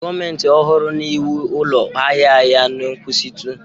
Gọọmentị ọhụrụ na-ewu ụlọ ahịa ahịa na nkwụsịtụ